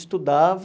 Estudava.